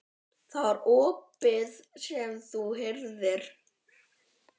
Það var ópið sem þú heyrðir.